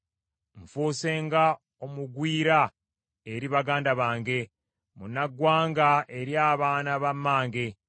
Nfuuse nga omugwira eri baganda bange, munnaggwanga eri abaana ba mmange.